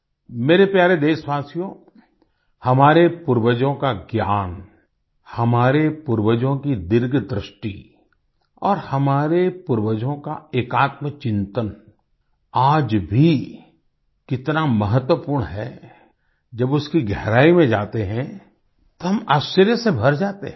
मेरे प्यारे देशवासियो हमारे पूर्वजों का ज्ञान हमारे पूर्वजों की दीर्घदृष्टि और हमारे पूर्वजों का एकात्मचिंतन आज भी कितना महत्वपूर्ण है जब उसकी गहराई में जाते हैं तो हम आश्चर्य से भर जाते हैं